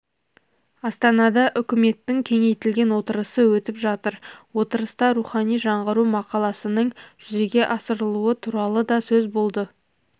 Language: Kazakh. астанада үкіметтің кеңейтілген отырысы өтіп жатыр отырыста рухани жаңғыру мақаласының жүзеге асырылуы туралы да сөз болды